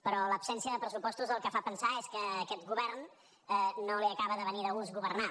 però l’absència de pressupostos el que fa pensar és que a aquest govern no li acaba de venir de gust governar